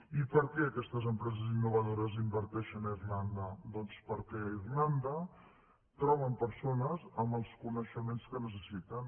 i per què aquestes empreses innovadores inverteixen a irlanda doncs perquè a irlanda troben persones amb els coneixements que necessiten